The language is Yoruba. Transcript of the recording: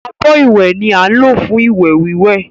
Abọ́ ìwẹ̀ ni á ń lò fún ìwẹ̀ wíwẹ̀